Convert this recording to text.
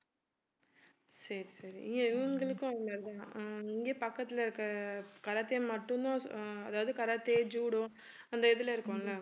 சரி சரி இவங்களுக்கும் இங்க தான் ஆஹ் இங்க பக்கத்துல இருக்கற karate மட்டும்தான் அஹ் அதாவது karate, judo அந்த இதுல இருக்கும்ல